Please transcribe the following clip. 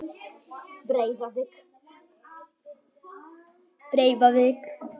Breiðavík